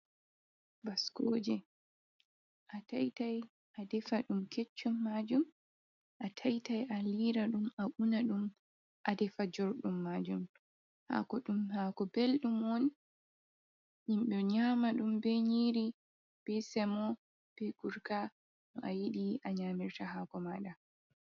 Baskooje a taitai a defa ɗum keccum majum, a taitai a liira ɗum a una ɗum a defa jorɗum maajum, haako belɗum on yimbe nyaama ɗum bee nyiiri bee semo bee gurka, no a yiɗi a nyaamirta haako maaɗa.